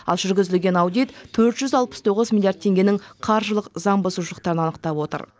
ал жүргізілген аудит төрт жүз алпыс тоғыз миллиард теңгенің қаржылық заң бұзушылықтарын анықтап отыр